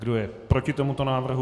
Kdo je proti tomuto návrhu?